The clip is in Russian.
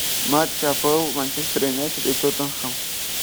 матч апл манчестер юнайтед и тоттенхэм